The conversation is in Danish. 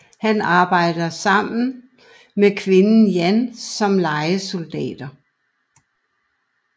Han abejder nu sammen med kvinden Jan som lejesoldater